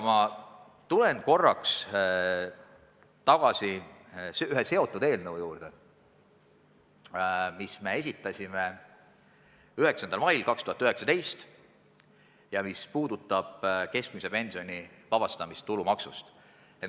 Ma tulen korraks veel tagasi ühe seotud eelnõu juurde, mille me esitasime 9. mail 2019 ja mis puudutab keskmise pensioni vabastamist tulumaksust.